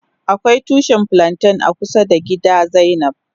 Akwai tushi flanten a kusa da gida zainab.